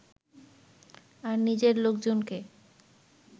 আর নিজের লোকজনকে